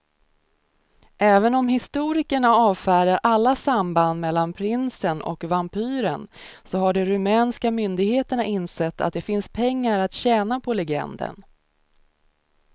Även om historikerna avfärdar alla samband mellan prinsen och vampyren så har de rumänska myndigheterna insett att det finns pengar att tjäna på legenden.